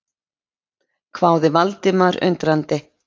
hváði Valdimar undrandi.